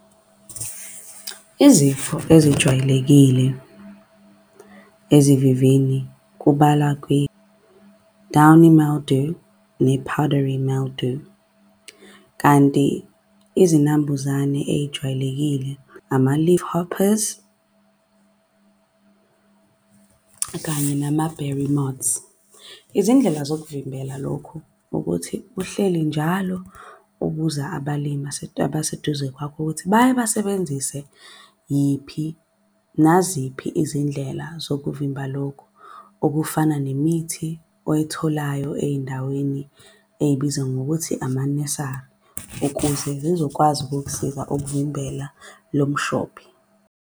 Izifo ezijwayelekile ezivivini kubalwa kwi-downy mildew, ne-powdery mildew kanti izinambuzane ey'jwayelekile ama-leaf hopers, kanye nama-beremotes. Izindlela zokuvimbela lokhu ukuthi uhleli njalo ubuza abalimi abaseduze kwakho ukuthi bayabasebenzise yiphi, naziphi izindlela zokuvimba lokhu, okufana nemithi oyitholayo ey'ndaweni ey'bizwa ngokuthi amanesari ukuze zizokwazi ukukusiza ukuvimbela lo mshophi.